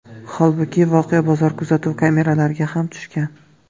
Holbuki, voqea bozor kuzatuv kameralariga ham tushgan.